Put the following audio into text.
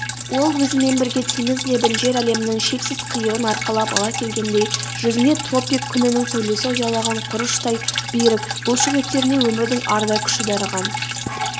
ол өзімен бірге теңіз лебін жер әлемінің шексіз қиырын арқалап ала келгендей жүзіне тропик күнінің сәулесі ұялаған құрыштай берік бұлшық еттеріне өмірдің арда күші дарыған